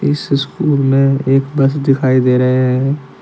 इस स्कूल में एक बस दिखाई दे रहे हैं।